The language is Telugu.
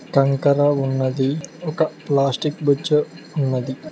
కంకర ఉన్నది ఒక ప్లాస్టిక్ బొచ్చే ఉన్నది.